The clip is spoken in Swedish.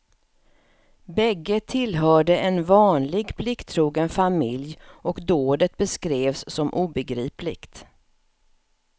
Bägge tillhörde en vanlig, plikttrogen familj och dådet beskrevs som obegripligt.